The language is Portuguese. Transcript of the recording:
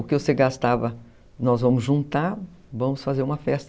O que você gastava, nós vamos juntar, vamos fazer uma festa.